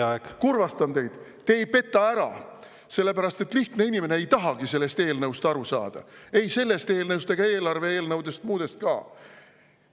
Aga ma kurvastan teid: te ei peta ära, sellepärast et lihtne inimene ei tahagi sellest eelnõust aru saada, ei sellest eelnõust ega muudest eelarve-eelnõudest ka.